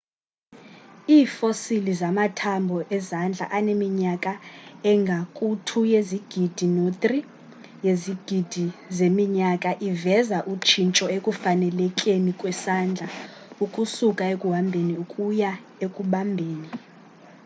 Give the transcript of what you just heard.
iifosili zamathambho ezandla aneminyaka engaku-2 yezigidi no-3 yezigidi zeminyaka iveza utshintsho ekufanelekeni kwesandla ukusuka ekuhambheni ukuya ekubambheni